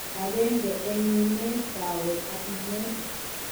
Agenge en yineet, kaweek ak nameet